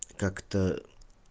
как-то